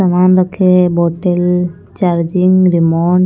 सामान रखे है बोतल चार्जिंग रिमोट --